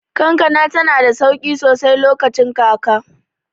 Kankana tanada sauƙi sosai lokacin kaka.